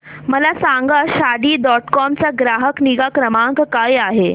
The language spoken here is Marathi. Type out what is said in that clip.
मला सांगा शादी डॉट कॉम चा ग्राहक निगा क्रमांक काय आहे